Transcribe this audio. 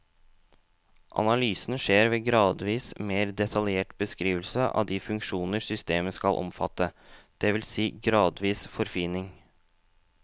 Analysen skjer ved gradvis mer detaljert beskrivelse av de funksjoner systemet skal omfatte, det vil si gradvis forfining.